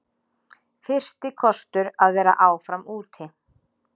Fyrsti kostur að vera áfram úti